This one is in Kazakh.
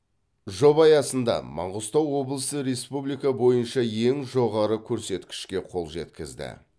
жоба аясында маңғыстау облысы республика бойынша ең жоғары көрсеткішке қол жеткізді